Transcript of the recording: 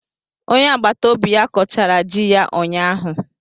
Onye agbata obi ya kọchara ji ya ụnyahụ.